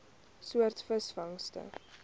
soort visvangste